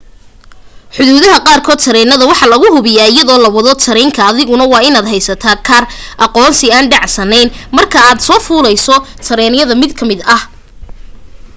xuduudaha qaar kood tareynada waxa lagu hubiya iyado la wado tareyn ka adiguna waa in aad heysata kaar aqoonsi aan dhacsanen marka aad soo fuleyso tareynada mid ka mid ah